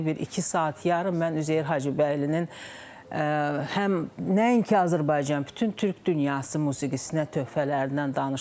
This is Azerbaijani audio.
Bir iki saat yarım mən Üzeyir Hacıbəylinin həm nəinki Azərbaycan, bütün türk dünyası musiqisinə töhfələrindən danışdım.